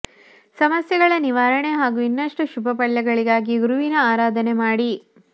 ಸಮಸ್ಯೆಗಳ ನಿವಾರಣೆ ಹಾಗೂ ಇನ್ನಷ್ಟು ಶುಭ ಫಲಗಳಿಗಾಗಿ ಗುರುವಿನ ಆರಾಧನೆ ಮಾಡಿ